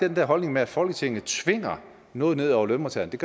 den der holdning med at folketinget tvinger noget ned over lønmodtagerne